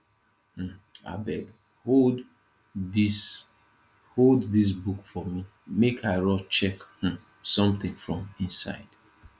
um abeg hold abeg hold dis book for me make i rush check um something from inside